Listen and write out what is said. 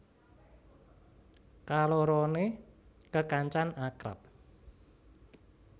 Kaloroné kekancan akrab